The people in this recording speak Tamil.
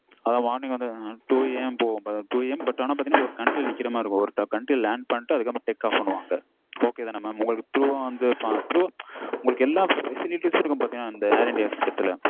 அது morning வந்து two AM போகும் two AM but வந்து ஒரு country ல நிக்கிற மாதிரி இருக்கும் ஒரு country ல land பண்ணிட்டு அதுக்கு அப்புறம் take off பண்னுவாங்க அப்ப okay தான mam உங்களுக்கு through வா வந்து through எல்லா facilities இருக்கும் பாத்தீங்கனா air india express ல